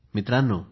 मित्रांनो